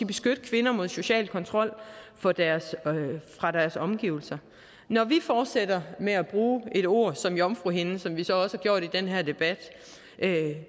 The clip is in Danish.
beskytte kvinder mod social kontrol fra deres omgivelser når vi fortsætter med at bruge et ord som jomfruhinde som vi så også har gjort i den her debat